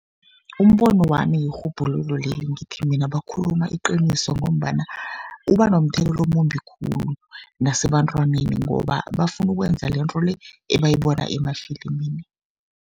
Umbono wami lirhubhululo leli, ngithi mina bakhuluma iqiniso, ngombana uba nomthelela omumbi khulu nebantwaneni, ngoba bafuna ukwenza lento le ebayibona emafilimini.